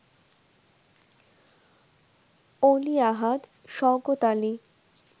Oli Ahad, Shawkat Ali